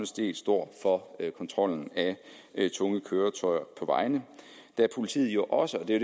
set står for kontrollen af tunge køretøjer på vejene da politiet jo også det er